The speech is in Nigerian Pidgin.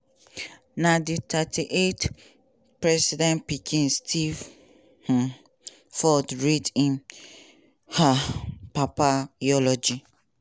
na di 38th president pikin steve um ford read im um papa eulogy